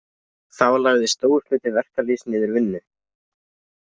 Þá lagði stór hluti verkalýðs niður vinnu.